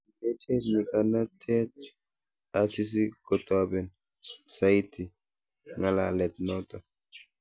kilechech nyikanatet Asisi kotoben saiti ngalalet noto